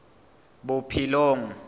bophelong